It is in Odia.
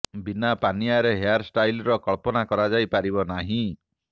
ବିନା ପାନିଆରେ ହେୟାର ଷ୍ଟାଲର କଳ୍ପନା କରାଯାଇ ପାରିବ ନାହିଁ